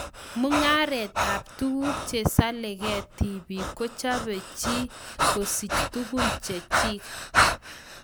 Mungaret ab tuguk Chesaleke tipik kochope chi kosich tugun Chechik.